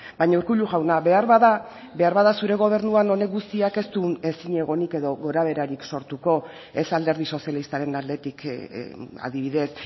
baina urkullu jauna beharbada beharbada zure gobernuan honek guztiak ez du ezinegonik edo gorabeherarik sortuko ez alderdi sozialistaren aldetik adibidez